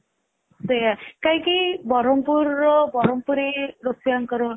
ସେଇଆ କାହିଁକି ବରମପୁର ର ବରମ ପୁରୀ ରୋଷେଇଆଙ୍କର